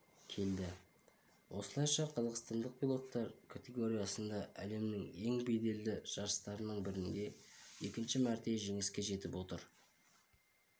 келді осылайша қазақстандық пилоттар категориясында әлемнің ең беделді жарыстарының бірінде екінші мәрте жеңіске жетіп отыр